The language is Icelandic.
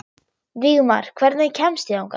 Vígmar, hvernig kemst ég þangað?